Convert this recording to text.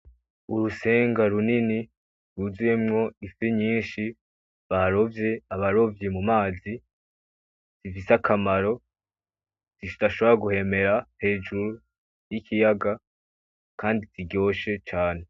Urusenga runini rwuzuyemwo ifi nyinshi barovye abarovyi mu mazi zifise akamaro zidashobora guhemera hejuru y'ikiyaga kandi ziryoshe cane.